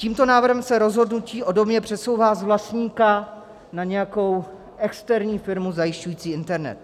Tímto návrhem se rozhodnutí o domě přesouvá z vlastníka na nějakou externí firmu zajišťující internet.